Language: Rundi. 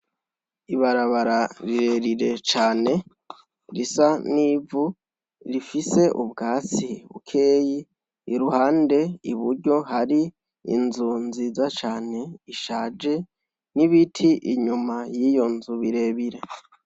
Ibarabara rire rire cane risa n'ivu rifise ubwatsi bukeyi iruhande iburyo hari inzu nziza cane ishaje n' ibiti inyuma y' iyo nzu bire bire.